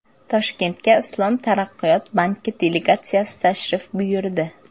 Toshkentga Islom taraqqiyot banki delegatsiyasi tashrif buyurdi.